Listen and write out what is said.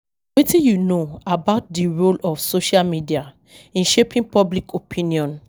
Wetin you know about di role of social media in shaping public opinion?